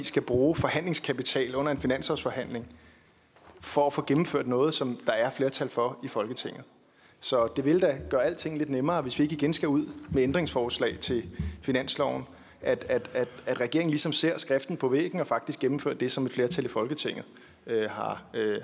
skal bruge forhandlingskapital under en finanslovsforhandling for at få gennemført noget som der er flertal for i folketinget så det vil da gøre alting lidt nemmere hvis vi ikke igen skal ud med ændringsforslag til finansloven at at regeringen ligesom ser skriften på væggen og faktisk gennemfører det som et flertal i folketinget